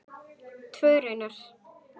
Tvö raunar.